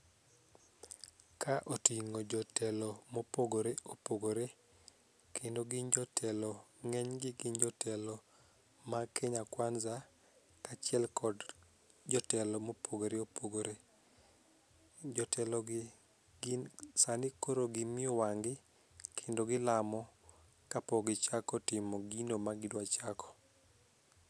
ka otingo jotelo mopogore opogore kendo gin jotelo ng'eny gi gin jotelo mag kenya kwanza ka achiel kod jotelo mopogore opogore, jotelo gi sani koro gimiyo wang' gi kendo gilamo kapok gichako timo gino ma gidwa chako.